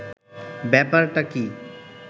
ব্যাপারটা কী